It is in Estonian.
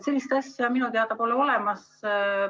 Sellist asja minu teada pole olemas.